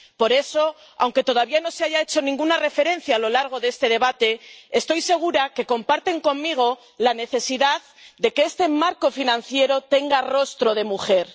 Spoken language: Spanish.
Por eso, aunque todavía no se haya hecho ninguna referencia a lo largo de este debate, estoy segura de que comparten conmigo la necesidad de que este marco financiero tenga rostro de mujer.